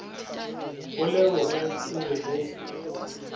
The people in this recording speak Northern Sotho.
o leboge o be o